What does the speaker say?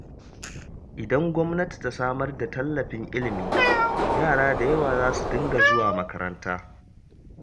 Idan gwamnati ta samar da tallafin ilimi, yara da yawa za su dinga zuwa makaranta.